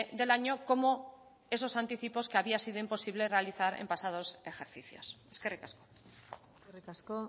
del año como esos anticipos que había sido imposible realizar en pasados ejercicios eskerrik asko eskerrik asko